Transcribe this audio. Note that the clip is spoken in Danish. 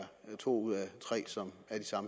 to ud af tre som